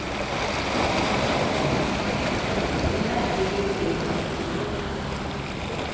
le ha e le e